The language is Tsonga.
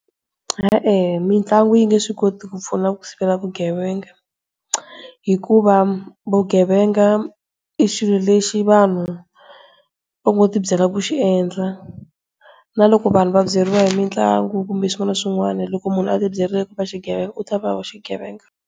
E-e, mitlangu yi nge swi koti ku pfuna ku sivela vugevenga. Hikuva vugevenga i xilo lexi vanhu va ngo ti byela ku xiendla, naloko vanhu va byeriwa hi mitlangu kumbe swin'wana na swin'wana loko munhu a ti byerile ku va xigevenga u ta va xigevenga.